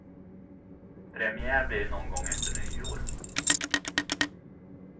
Premiär blir det någon gång efter nyår.